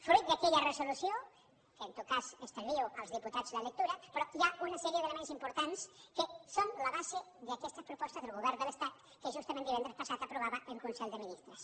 fruit d’aquella resolució de què en tot cas estalvio als diputats la lectura però hi ha una sèrie d’elements importants que són la base d’aquestes propostes del govern de l’estat que justament divendres passat aprovava en consell de ministres